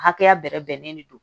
Hakɛya bɛrɛ bɛnnen de don